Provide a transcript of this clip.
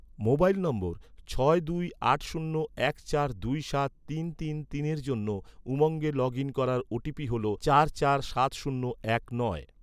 mobile নম্বর, ছয় দুই আট শূন্য এক চার দুই সাত তিন তিন তিনের জন্য, উমঙ্গে লগ ইন করার ওটিপি হল, চার চার সাত শূন্য এক নয়